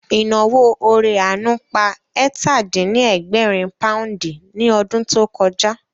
Ìnáwó ore àánú pa ẹ̀tà-dín-ní-ẹgbẹ̀rin pòúndì ní ọdún tó kọjá